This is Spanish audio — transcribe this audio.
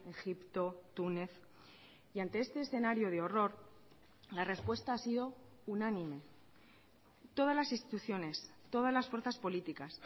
egipto túnez y ante este escenario de horror la respuesta ha sido unánime todas las instituciones todas las fuerzas políticas